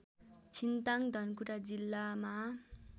छिन्ताङ्ग धनकुटा जिल्लामा